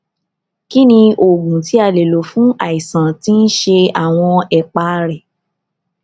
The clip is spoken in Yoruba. kí ni oògùn tí a lè lò fún àìsàn tí ń ṣe àwọn ẹpá rẹ